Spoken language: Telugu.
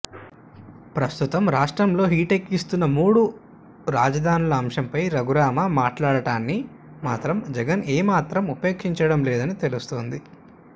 ప్రస్తుతం రాష్ట్రంలో హీటెక్కిస్తున్న మూడు రాజధానుల అంశంపై రఘురామ మాట్లాడటాన్ని మాత్రం జగన్ ఏమాత్రం ఉపేక్షించడం లేదని తెలుస్తోంది